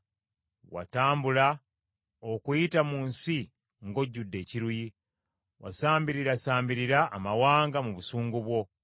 Watambula okuyita mu nsi ng’ojjudde ekiruyi, wasambirirasambirira amawanga mu busungu bwo.